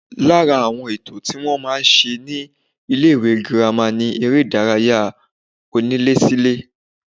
Lára àwọn ètò tí wọ́n máa ń ṣe ní ilé-ìwé girama ni eré-ìdárayá onílésílé